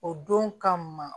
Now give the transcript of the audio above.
O don ka ma